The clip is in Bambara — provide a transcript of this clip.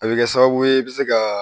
A bɛ kɛ sababu ye i bɛ se ka